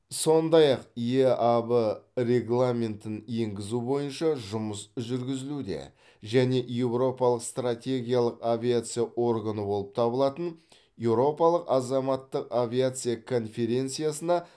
сондай ақ еааб регламентін енгізу бойынша жұмыс жүргізілуде және еуропалық стратегиялық авиация органы болып табылатын еуропалық азаматтық авиация конференциясына